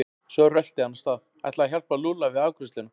Svo rölti hann af stað, ætlaði að hjálpa Lúlla við afgreiðsluna.